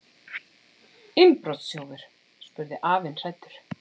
Innbrotsþjófur? spurði afinn hræddur.